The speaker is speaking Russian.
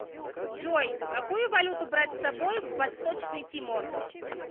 джой какую валюту брать с собой в восточный тимор